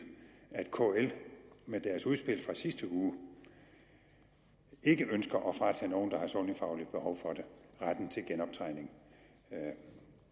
at kl med deres udspil fra sidste uge ikke ønsker at fratage nogen der har et sundhedsfagligt behov for det retten til genoptræning